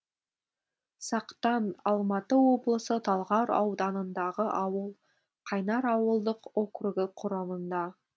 сақтан алматы облысы талғар ауданындағы ауыл қайнар ауылдық округі құрамында